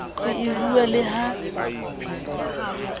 ho e rua le ha